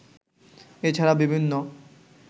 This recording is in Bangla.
এ ছাড়া বিভিন্ন